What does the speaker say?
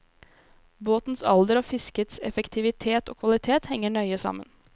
Båtens alder og fiskets effektivitet og kvalitet henger nøye sammen.